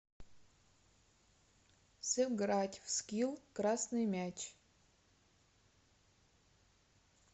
сыграть в скилл красный мяч